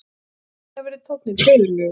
Skyndilega verður tónninn föðurlegur